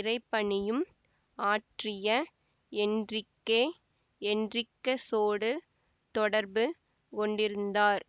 இறைபணியும் ஆற்றிய என்றிக்கே என்றிக்கசோடு தொடர்பு கொண்டிருந்தார்